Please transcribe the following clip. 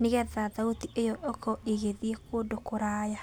nĩgetha thauti ĩyo ĩkorwo ĩgĩthiĩ kũndũ kũraya.